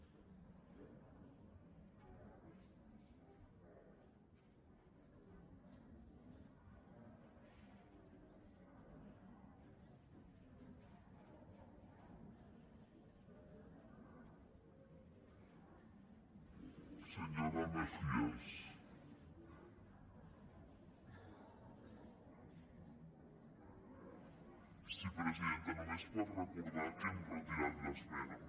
sí presidenta només per recordar que hem retirat l’esmena